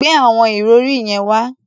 Gbe àwọn ìrọ̀rí yẹn wá!